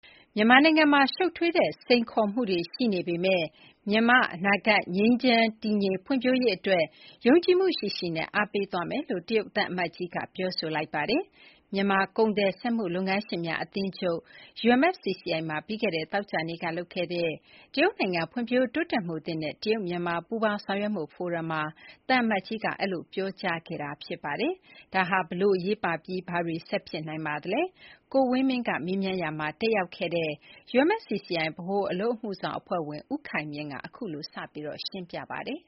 မြန်မာနိုင်ငံမှာ ရှုပ်ထွေးတဲ့စိန်ခေါ်မှုတွေရှိနေပေမဲ့ မြန်မာ အနာဂတ် ငြိမ်းချမ်းတည်ငြိမ်ဖွံ့ဖြိုးရေးအတွက် ယုံကြည်မှုရှိရှိနဲ့ အားပေးသွားမယ်လို့ တရုတ်သံအမတ်ကြီး ပြောလိုက်ပါတယ်။ မြန်မာ ကုန်သည် စက်မှုလုပ်ငန်းရှင်များ အသင်းချုပ် မှာ ပြီးခဲ့တဲ့ သောကြာနေ့ က လုပ်ခဲ့တဲ့ "တရုတ်နိုင်ငံ ဖွံ့ဖြိုးတိုးတက်မှုသစ် နဲ့ တရုတ်မြန်မာ ပူးပေါင်းဆောင်ရွက်မှုဖိုရမ်" မှာ သံအမတ်ကြီး Chen Hai က အဲဒီလို ပြောကြားခဲ့တာဖြစ်ပါတယ်။ ဒါဟာ ဘယ်လို အရေးပါပြီး ဘာတွေဆက်ဖြစ်နိုင်ပါလဲ။ ကိုဝင်းမင်းက မေးရာမှာ တက်ရောက်ခဲ့တဲ့ UMFCCI ဗဟိုအလုပ်အမှုဆောင်အဖွဲ့ဝင် ဦးခိုင်မြင့်က အခုလို စရှင်းပြပါတယ်